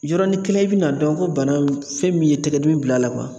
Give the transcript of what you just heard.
Yɔrɔnin kelen , i bɛna dɔn ko bana in fɛn min ye tigɛdimi bila a la